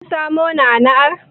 Kin samo na'ana'ar?